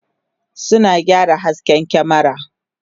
suna gyara hasken kyamera